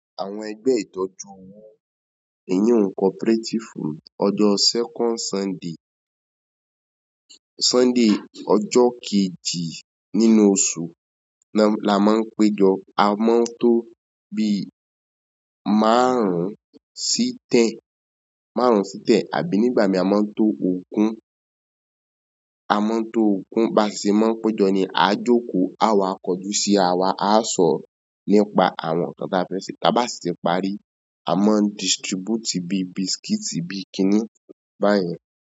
Àwọn ẹgbẹ́ ìtọ́jú ohun ìní ohun cooperative ọjọ́ second Sunday, Sunday ọjọ́ kejì nínú oṣù ni a máa ń péjọ. Àmọ́ tó bí márùn-ún sí tẹ̀n, márùn-ún sí tẹ̀n àbí nígbà mì, a ma n to ogun, àmọ́ tó ògun ba seì máa ń péjọ ni a jókòó, àwa kọjú sí àwa, á sọ̀rọ̀ nípa àwọn nǹkan tí a fẹ́ se. Ta ba si ti parí, a ma n distribute bi bisikiti bi kini bayen.